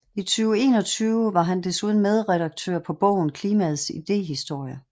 I 2021 var han desuden medredaktør på bogen Klimaets idehistorie